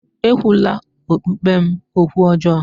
Ekwula okpukpe m okwu ọjọọ!